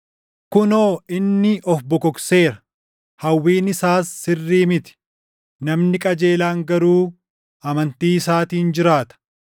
“Kunoo inni of bokokseera; hawwiin isaas sirrii miti; namni qajeelaan garuu amantii isaatiin jiraata;